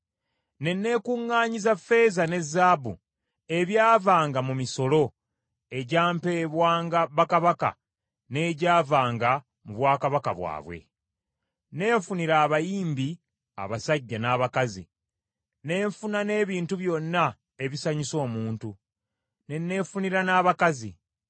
Ne neekuŋŋaanyiza ffeeza ne zaabu ebyavanga mu misolo, egyampebwanga bakabaka n’egyavanga mu bwakabaka bwabwe. Neefunira abayimbi abasajja n’abakazi, ne nfuna n’ebintu byonna ebisanyusa omuntu, ne neefunira n’abakazi.